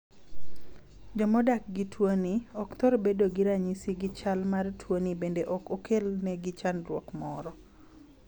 Joma odak gi tuoni ,ok thor bedo gi ranyisi gi chal mar tuoni bende ok okel ne gi chadruok moro.